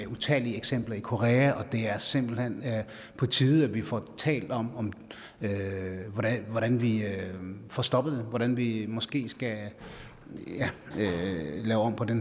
utallige eksempler i korea det er simpelt hen på tide at vi får talt om om hvordan vi får stoppet hvordan vi måske skal lave om på det